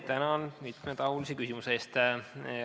Tänan mitmetahulise küsimuse eest!